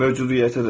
Mövcudiyyətə də.